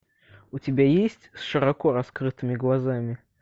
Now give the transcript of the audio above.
у тебя есть с широко раскрытыми глазами